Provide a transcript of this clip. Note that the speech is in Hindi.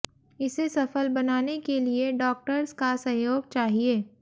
इसे सफल बनाने के लिए डॉक्टर्स का सहयोग चाहिए